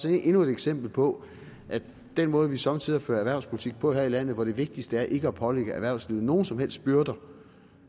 endnu et eksempel på den måde vi somme tider fører erhvervspolitik på her i landet hvor det vigtigste er ikke at pålægge erhvervslivet nogen som helst byrder